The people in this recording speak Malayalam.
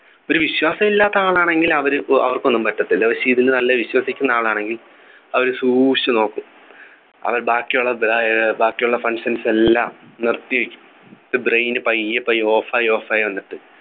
ഒരു വിശ്വാസം ഇല്ലാത്ത ആൾ ആണെങ്കിൽ അവര് അവർക്കൊന്നും പറ്റത്തില്ല പക്ഷെ ഇതിൽ നല്ല വിശ്വസിക്കുന്ന ആൾ ആണെങ്കിൽ അവര് സൂക്ഷിച്ചു നോക്കും അവര് ബാക്കിയുള്ള ഏർ ബാക്കിയുള്ള functions എല്ലാം നിർത്തിവയ്ക്കും എന്നിട്ട് brain പയ്യെ പയ്യെ off ആയി off ആയി വന്നിട്ട്